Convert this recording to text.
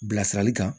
Bilasirali kan